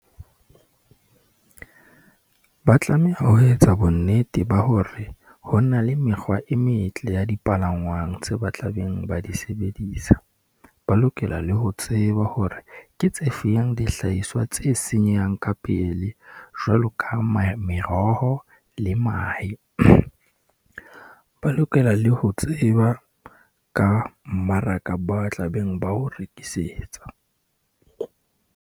Ba tlameha ho etsa bonnete ba hore, ho na le mekgwa e metle ya dipalangwang tseo ba tla beng ba di sebedisa, ba lokela le ho tseba hore ke tse fenyang dihlahiswa tse senyehang ka pele, jwalo ka meroho le mahe . Ba lokela le ho tseba ka mmaraka ba tlabeng ba o rekisetsa.